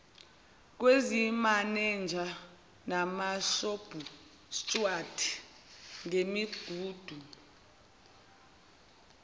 kwezimenenja namashobhustuwadi ngemigudu